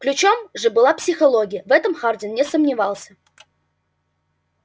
ключом же была психология в этом хардин не сомневался